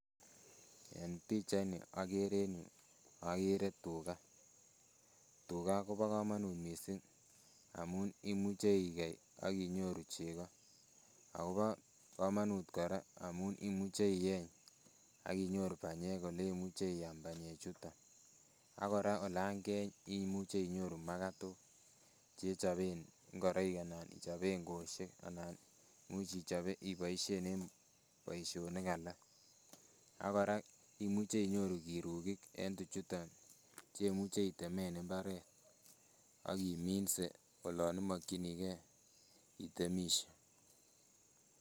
En pichaini akere en yu, akere tuga, tuga kobo kamanut mising, amun imuche ikei ak inyoru chego, akobo kamanut kora amun imuche ieny ak inyoru banyek oleimuche iam banyechuton, ak kora olan keeny imuche inyoru makatok, chechoben ngoroik anan ichoben kweosiek anan much iboisien en boisionik alak, ak kora imuche inyoru kirukik en tuchuton chemuche itemen imbaret ak iminse olon imokyinikei itemisie.